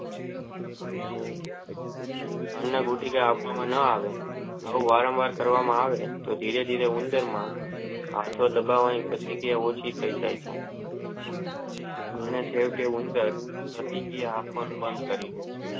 અને ગુટિકા આપવામાં ન આવે તો વારંવાર કરવામાં આવે તો ધીરે ધીરે ઉંદર માં આંખે દબાવાની પ્રતિક્રિયા ઓછી થાય જાય છે અને જેમ જેમ ઉંદર પ્રતિક્રિયા કરવાનું બાણ કરી ડે છે.